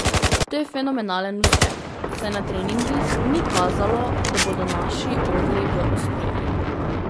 To je fenomenalen uspeh, saj na treningih ni kazalo, da bodo naši orli v ospredju.